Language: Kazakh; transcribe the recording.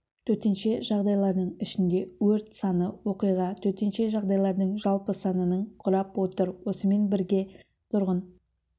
төтенше жағдайлардың ішінде өрт саны оқиға төтенше жағдайлардың жалпы санының құрап отыр осымен бірге тұрғын